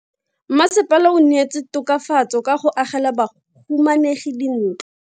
Mmasepala o neetse tokafatso ka go agela bahumanegi dintlo.